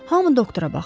Hamı doktora baxdı.